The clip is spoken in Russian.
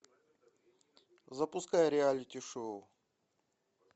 запускай реалити шоу